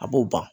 A b'o ban